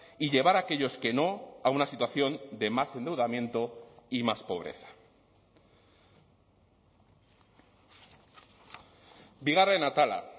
y llevar aquellos que no a una situación de más endeudamiento y más pobreza bigarren atala